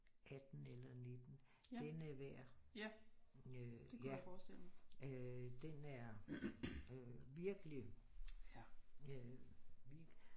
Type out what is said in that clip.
18 eller 19 den er værd øh ja øh den er virkelig vild